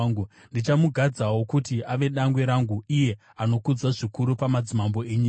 Ndichamugadzawo kuti ave dangwe rangu, iye anokudzwa zvikuru pamadzimambo enyika.